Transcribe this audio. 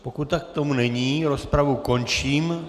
Pokud tomu tak není, rozpravu končím.